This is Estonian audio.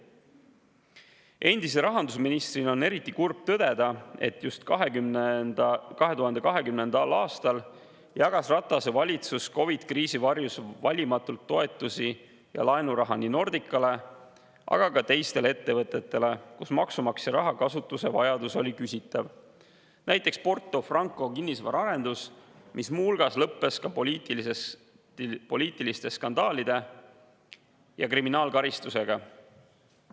Endise rahandusministrina on eriti kurb tõdeda, et just 2020. aastal jagas Ratase valitsus COVID‑i kriisi varjus valimatult toetusi ja laenuraha nii Nordicale kui ka teistele ettevõtetele, kus maksumaksja raha kasutuse vajadus oli küsitav, näiteks Porto Franco kinnisvaraarendusele, mis muu hulgas lõppes ka poliitiliste skandaalide ja kriminaalkaristusega.